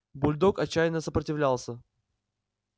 бульдог отчаянно сопротивлялся